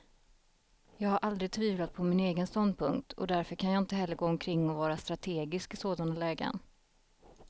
Jag har aldrig tvivlat på min egen ståndpunkt, och därför kan jag inte heller gå omkring och vara strategisk i sådana lägen.